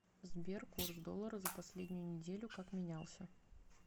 сбер курс доллара за последнюю неделю как менялся